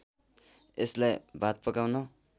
यसलाई भात पकाउन